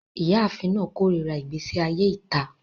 Iyaafin naa korira igbesi aye ita